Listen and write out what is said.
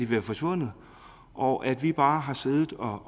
være forsvundet og at vi bare har siddet og